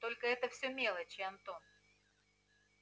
только это все мелочи антон